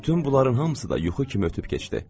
Bütün bunların hamısı da yuxu kimi ötüb keçdi.